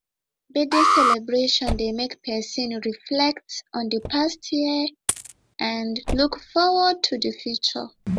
birthday celebration dey make pesin reflect on di past year and look forward to di future